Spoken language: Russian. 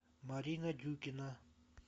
марина дюкина